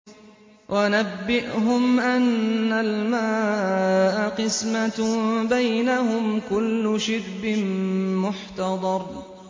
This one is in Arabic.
وَنَبِّئْهُمْ أَنَّ الْمَاءَ قِسْمَةٌ بَيْنَهُمْ ۖ كُلُّ شِرْبٍ مُّحْتَضَرٌ